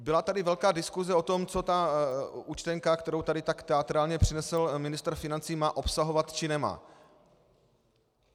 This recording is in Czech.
Byla tady velká diskuse o tom, co ta účtenka, kterou tady tak teatrálně přinesl ministr financí, má obsahovat, či nemá.